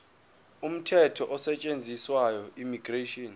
umthetho osetshenziswayo immigration